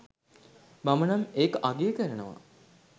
මමනම් ඒක අගය කරනවා